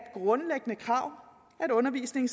grundlæggende krav at undervisningen